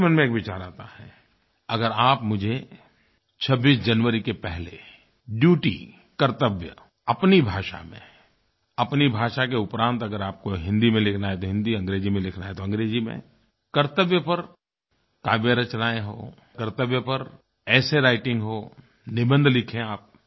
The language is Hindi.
मेरे मन में एक विचार आता है अगर आप मुझे 26 जनवरी के पहले ड्यूटी कर्तव्य अपनी भाषा में अपनी भाषा के उपरांत अगर आपको हिंदी में लिखना है तो हिंदी में अंग्रेज़ी में लिखना है तो अंग्रेज़ी में कर्तव्य पर काव्य रचनाएँ हो कर्तव्य पर एसे राइटिंग हो निबंध लिखें आप